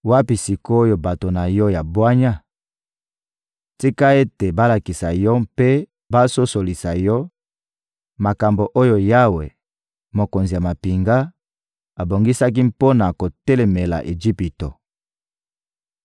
Wapi sik’oyo bato na yo ya bwanya? Tika ete balakisa yo mpe basosolisa yo makambo oyo Yawe, Mokonzi ya mampinga, abongisaki mpo na kotelemela Ejipito.